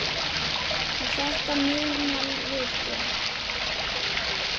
Og þetta munum við gera.